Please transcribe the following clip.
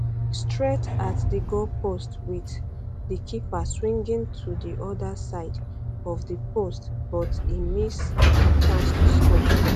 straight at di goalpost wit di di keeper swinging to di oda side of di post but e miss di chance to score